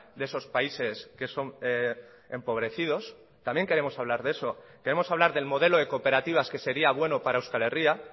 de esos países que son empobrecidos también queremos hablar de eso queremos hablar del modelo de cooperativas que sería bueno para euskal herria